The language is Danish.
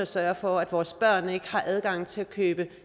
sørge for at vores børn ikke har adgang til at købe